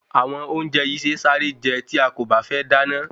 Àwọn ounjẹ yii se sáré je tí a kò bá fé dáná